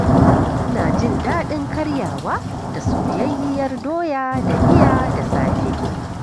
Ina jin daɗin karyawa da soyayyiyar doya da miya da safe.